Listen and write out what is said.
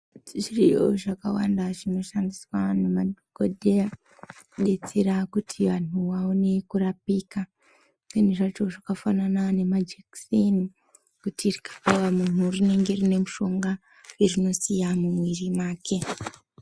Zviro zvakawanda zvinoshandiswa nemadhokodheya ,kuitira kuti anhu aone kurapika. Zvimweni zvacho zvakafanana nemajekiseni, kuti rikabaiwa muntu rinenge rine mushonga werinosiya mumwiiri mwake.